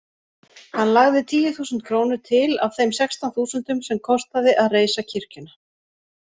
Hann lagði tíu þúsund krónur til af þeim sextán þúsundum sem kostaði að reisa kirkjuna.